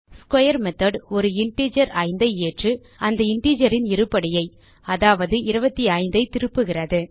square method ஒரு integer 5 ஐ ஏற்று அந்த integerன் இருபடியை அதாவது 25 ஐ திருப்புகிறது